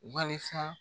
Walisa